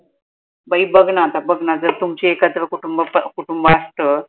बाई बग ना आता बग ना जर तुमचे एकत्र कुटुंब प आसत